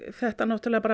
þetta náttúrulega